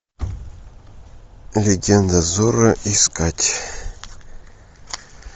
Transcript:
легенда зорро искать